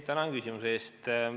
Tänan küsimuse eest!